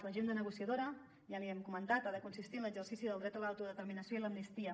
l’agenda negociadora ja li hem comentat ha de consistir en l’exercici del dret a l’autodeterminació i l’amnistia